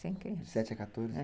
De sete a quatorze? é.